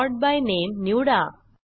sort by नामे निवडा